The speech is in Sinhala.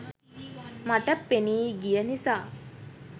මට පෙනී ගිය නිසා.